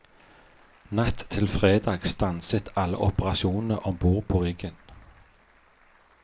Natt til fredag stanset alle operasjonene om bord på riggen.